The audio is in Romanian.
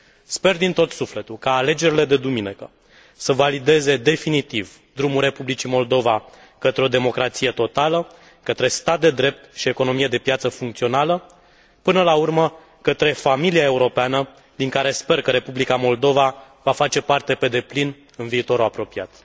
Sper din tot sufletul ca alegerile de duminică să valideze definitiv drumul Republicii Moldova către o democrație totală, către stat de drept și economie de piață funcțională, până la urmă către familia europeană din care sper că Republica Moldova va face parte pe deplin în viitorul apropiat.